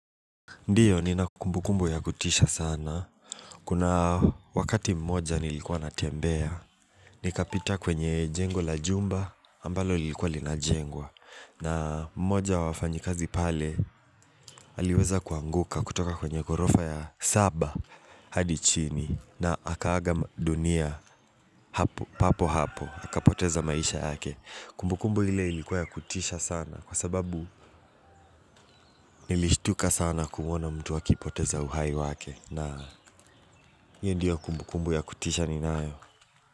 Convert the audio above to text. Ndiyo nina kumbukumbu ya kutisha sana. Kuna wakati mmoja nilikuwa natembea. Nikapita kwenye jengo la jumba ambalo lilikuwa linajengwa. Na mmoja wa wafanyikazi pale aliweza kuanguka kutoka kwenye ghorofa ya saba hadi chini na akaaga dunia hapo papo hapo. Akapoteza maisha yake kumbukumbu hile ilikuwa ya kutisha sana kwa sababu nilishtuka sana kuona mtu akipoteza uhai wake na hio ndiyo kumbukumbu ya kutisha ninayo.